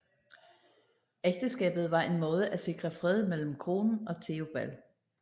Ægteskabet var en måde at sikre fred mellem kronen og Theobald